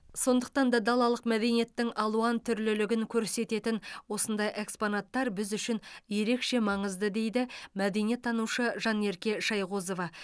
сондықтан да далалық мәдениеттің алуантүрлілігін көрсететін осындай экспонаттар біз үшін ерекше маңызды дейді мәдениеттанушы жанерке шайғозова